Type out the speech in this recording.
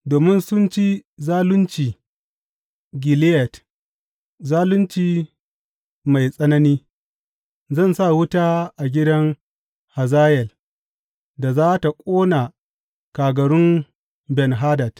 Domin sun ci zalunci Gileyad zalunci mai tsanani, zan sa wuta a gidan Hazayel, da za tă ƙona kagarun Ben Hadad.